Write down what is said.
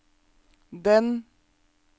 den